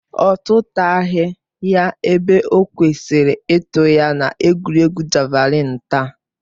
Ọ tụtaghi ya ebe o kwesịrị ịtụ ya na egwuregwu javalịn taa